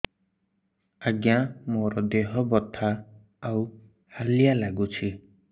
ଆଜ୍ଞା ମୋର ଦେହ ବଥା ଆଉ ହାଲିଆ ଲାଗୁଚି